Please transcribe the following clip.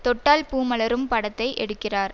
தொட்டால் பூ மலரும் படத்தை எடுக்கிறார்